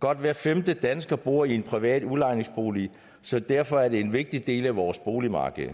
godt hver femte dansker bor i en privat udlejningsbolig så derfor er det en vigtig del af vores boligmarked